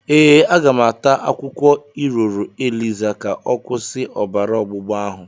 Ee, aga m ata akwukwo iroro eliza ka ọ kwusi obara ọgbụgba ahụ.